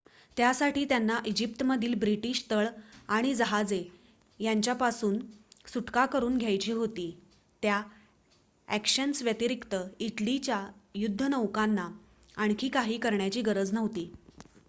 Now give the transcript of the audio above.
त्यासाठी त्यांना इजिप्तमधील ब्रिटीश तळ आणि जहाजे यांच्यापासून सुटका करून घ्यायची होती त्या ॲक्शन्स व्यतिरिक्त इटलीच्या युद्धनौकांना आणखी काही करण्याची गरज नव्हती